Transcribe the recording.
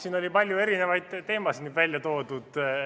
Siin oli palju erinevaid teemasid välja toodud.